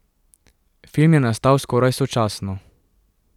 Film je nastal skoraj sočasno.